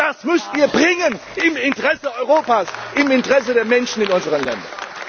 Aber das müsst Ihr bringen im Interesse Europas, im Interesse der Menschen in unseren Ländern.